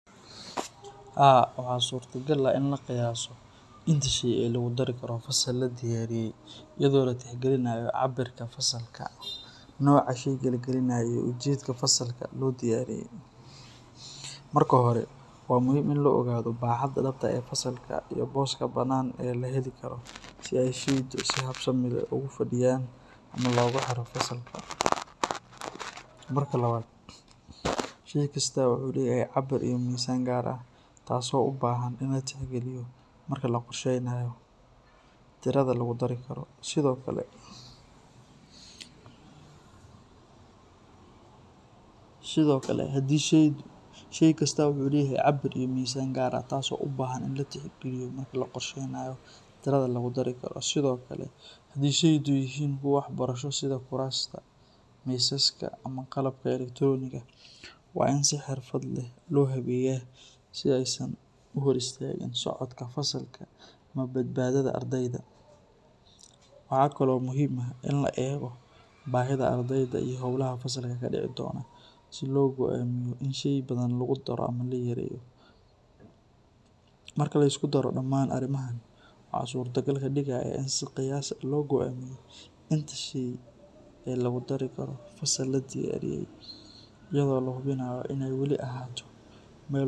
Haa waxaa suurta gal in la qiyaasno, booska banaan oo laheli karo ama looga xiro fasalka, sheey kasto wuxuu leyahay cabir, sido kale hadii sheey kasto ubahan tahay kuwa waxbarashada waa in si xirfad leh loo habeeya, waxaa kale oo muhiim ah in la eego bahida ardeyda, in si qiyaas loo goamiyo inta sheey ee lagu dari Karo.